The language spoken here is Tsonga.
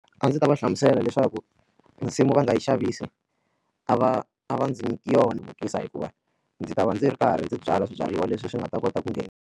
A ndzi ta va hlamusela leswaku nsimu va nga yi xavisi a va a va ndzi nyiki yona hluvukisa hikuva ndzi ta va ndzi ri karhi ndzi byala swibyariwa leswi swi nga ta kota ku .